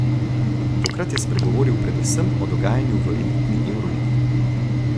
Tokrat je spregovoril predvsem o dogajanju v elitni evroligi.